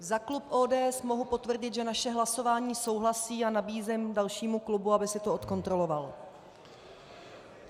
Za klub ODS mohu potvrdit, že naše hlasování souhlasí, a nabízím dalšímu klubu, aby si to zkontroloval.